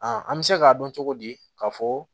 an bɛ se k'a dɔn cogo di k'a fɔ